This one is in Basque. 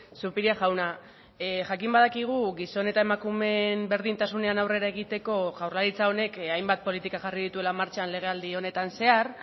zupiria jauna jakin badakigu gizon eta emakumeen berdintasunean aurrera egiteko jaurlaritza honek hainbat politika jarri dituela martxan legealdi honetan zehar